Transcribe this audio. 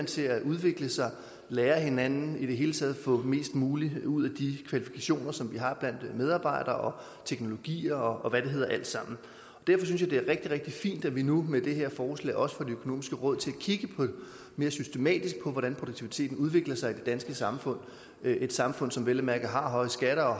til at udvikle sig lære af hinanden i det hele taget få mest muligt ud af de kvalifikationer som vi har blandt medarbejdere og teknologier og hvad det hedder alt sammen derfor synes jeg rigtig rigtig fint at vi nu med det her forslag også får det økonomiske råd til at kigge mere systematisk på hvordan produktiviteten udvikler sig i det danske samfund et samfund som vel at mærke har høje skatter og